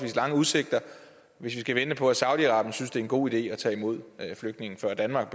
lange udsigter hvis vi skal vente på at saudi arabien synes det er en god idé at tage imod flygtninge før danmark